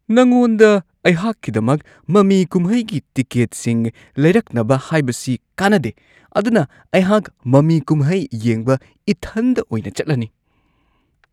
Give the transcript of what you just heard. ꯅꯉꯣꯟꯗ ꯑꯩꯍꯥꯛꯀꯤꯗꯃꯛ ꯃꯃꯤ ꯀꯨꯝꯍꯩꯒꯤ ꯇꯤꯀꯦꯠꯁꯤꯡ ꯂꯩꯔꯛꯅꯕ ꯍꯥꯏꯕꯁꯤ ꯀꯥꯟꯅꯗꯦ, ꯑꯗꯨꯅ ꯑꯩꯍꯥꯛ ꯃꯃꯤ-ꯀꯨꯝꯍꯩ ꯌꯦꯡꯕ ꯏꯊꯟꯗ ꯑꯣꯏꯅ ꯆꯠꯂꯅꯤ ꯫